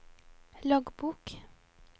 loggbok